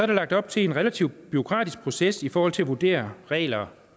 der lagt op til en relativt bureaukratisk proces i forhold til at vurdere regler